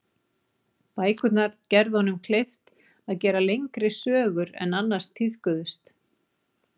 Bækurnar gerðu honum kleift að gera lengri sögur en annars tíðkuðust.